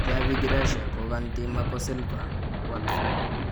Javi Gracia kokantii Marco Silva , Watford